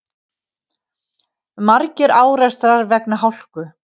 Margir árekstrar vegna hálku